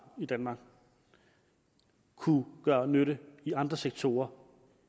i danmark kunne gøre nytte i andre sektorer